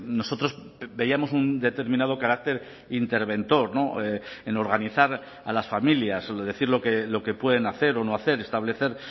nosotros veíamos un determinado carácter interventor en organizar a las familias decir lo que pueden hacer o no hacer establecer